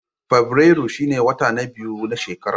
Fabrairu shine wata na biyu na shekara.